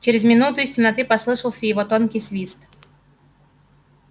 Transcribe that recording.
через минуту из темноты послышался его тонкий свист